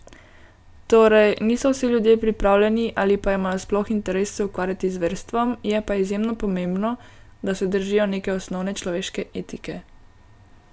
Torej, niso vsi ljudje pripravljeni, ali pa imajo sploh interes se ukvarjati z verstvom, je pa izjemno pomembno, da se držijo neke osnovne človeške etike.